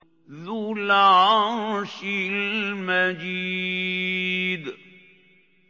ذُو الْعَرْشِ الْمَجِيدُ